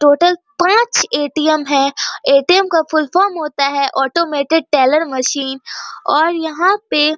Total पाँच ATM. है ATM. का फुल फॉर्म होता है ऑटोमैटिक टेलर मशीन और यहाँ पे --